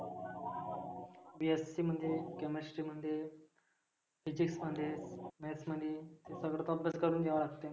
BSc मध्ये chemestry मध्ये physics मध्ये Maths मध्ये सगळच अभ्यास करुण घ्यावं लागते.